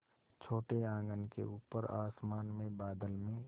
छोटे आँगन के ऊपर आसमान में बादल में